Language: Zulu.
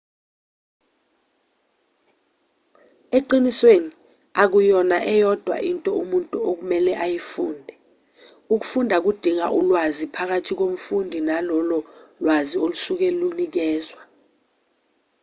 eqinisweni akuyona eyodwa into umuntu okumele ayifunde ukufunda kudinga ulwazi phakathi komfundi nalolo lwazi olusuke lunikezwa